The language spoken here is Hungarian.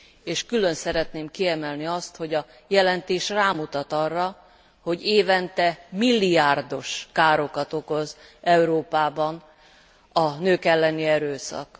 És külön szeretném kiemelni azt, hogy a jelentés rámutat arra, hogy évente milliárdos károkat okoz Európában a nők elleni erőszak.